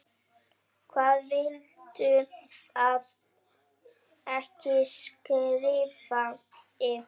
Hvað viltu að ég skrifi?